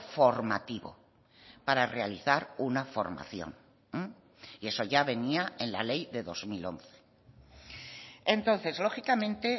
formativo para realizar una formación y eso ya venía en la ley de dos mil once entonces lógicamente